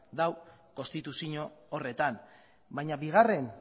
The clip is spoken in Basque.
dago konstituzio horretan baina bigarren